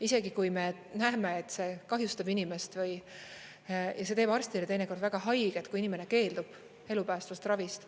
Isegi kui me näeme, et see kahjustab inimest, ja see teeb arstile teinekord väga haiget, kui inimene keeldub elupäästvast ravist.